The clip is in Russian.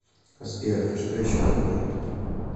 сбер это что еще такое